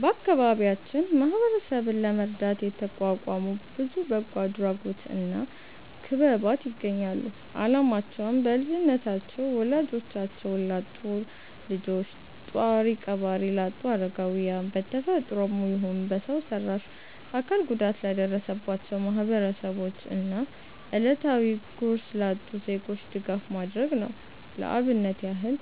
በአከባቢያችን ማህበረሰብን ለመርዳት የተቋቋሙ ብዙ በጎ አድራጎት እና ክበባት ይገኛሉ። አላማቸውም: በልጅነታቸው ወላጆቻቸውን ላጡ ልጆች፣ ጧሪ ቀባሪ ላጡ አረጋውያን፣ በ ተፈጥሮም ይሁን በሰው ሰራሽ አካል ጉዳት ለደረሰባቸው ማህበረሰቦች እና እለታዊ ጉርስ ላጡ ዜጎች ድጋፍ ማድረግ ነው። ለአብነት ያህል